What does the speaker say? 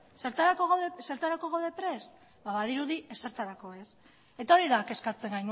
badirudi ezertarako ez eta hori da kezkatzen